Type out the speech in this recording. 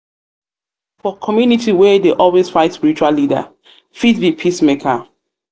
for community wey dey always fight spiritual leader fit be peacemaker fit be peacemaker